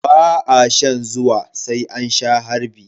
Ba a shan zuwa sai an sha harbi.